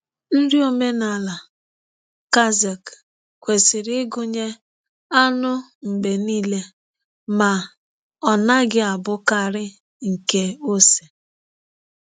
Nri omenala Kazakh kwesịrị ịgụnye anụ mgbe niile, ma ọ naghị abụkarị nke ose.